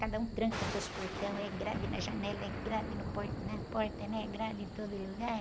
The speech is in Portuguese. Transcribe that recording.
Cada um tranca seus portões, é grade na janela, é grade no po, na porta, né? É grade em todo lugar.